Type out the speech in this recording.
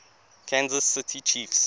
kansas city chiefs